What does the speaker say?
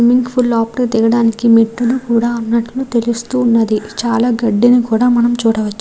Swimming pool లోపలికి దిగడానికి మెట్టులు కూడా ఉన్నట్టు తెలుస్తూ ఉన్నది చాలా గడ్డిని కూడా మనం చూడవచ్చు.